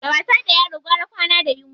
Da wasa da yaro gwara kwana da yunwa.